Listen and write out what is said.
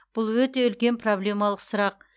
бұл өте үлкен проблемалық сұрақ